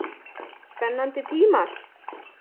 Spennandi tímar?